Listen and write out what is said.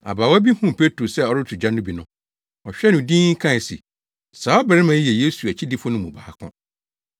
Abaawa bi huu Petro sɛ ɔreto gya no bi no, ɔhwɛɛ no dinn kae se, “Saa ɔbarima yi yɛ Yesu akyidifo no mu baako.”